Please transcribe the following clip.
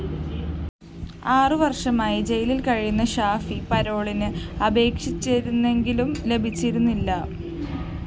ആറുവര്‍ഷമായി ജയിലില്‍ കഴിയുന്ന ഷാഫി പരോളിന് അപേക്ഷിച്ചിരുന്നെങ്കിലും ലഭിച്ചിരുന്നില്ല